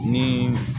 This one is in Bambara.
Ni